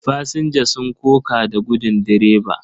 Fasinja sun koka da gudin direba.